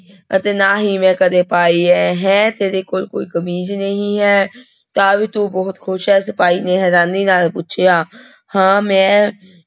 ਅਤੇ ਨਾ ਹੀ ਮੈਂ ਕਦੇ ਪਾਈ ਹੈ, ਹੈਂ ਤੇਰੇ ਕੋਲ ਕੋਈ ਕਮੀਜ਼ ਨਹੀਂ ਹੈ ਤਾਂ ਵੀ ਤੂੰ ਬਹੁਤ ਖ਼ੁਸ਼ ਹੈ ਸਿਪਾਹੀ ਨੇ ਹੈਰਾਨੀ ਨਾਲ ਪੁੱਛਿਆ ਹਾਂ ਮੈਂ